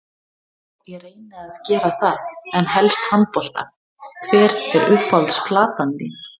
já ég reyni að gera það en helst handbolta Hver er uppáhalds platan þín?